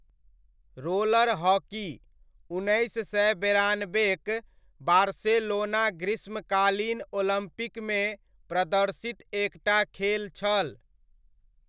Roller hockey, उन्नैस सए बेरानबेक बार्सेलोना ग्रीष्मकालीन ओलम्पिकमे प्रदर्शित एकटा खेल छल।